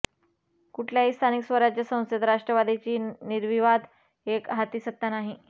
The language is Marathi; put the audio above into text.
कुठल्याही स्थानिक स्वराज्य संस्थेत राष्ट्रवादीची निर्विवाद एकहाती सत्ता नाही